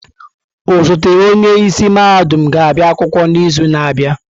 Osote onye isi mahadum ga-abịa akwụkwọ n'izu na-abịa.